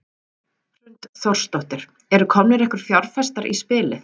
Hrund Þórsdóttir: Eru komnir einhverjir fjárfestar í spilið?